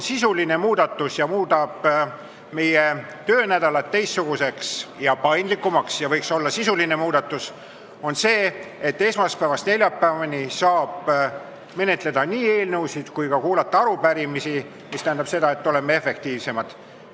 See, mis muudab meie töönädala teistsuguseks ja paindlikumaks ning võiks olla sisuline muudatus, on ettepanek, et esmaspäevast neljapäevani saaks menetleda eelnõusid ja ka kuulata arupärimisi, mis tähendab seda, et me oleme efektiivsemad.